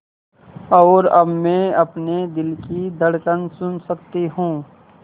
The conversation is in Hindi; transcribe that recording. और अब मैं अपने दिल की धड़कन सुन सकती हूँ